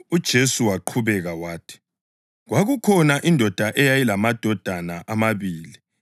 UJesu waqhubeka wathi: “Kwakukhona indoda eyayilamadodana amabili.